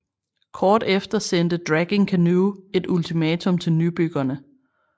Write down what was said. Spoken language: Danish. Kort efter sendte Dragging Canoe et ultimatum til nybyggerne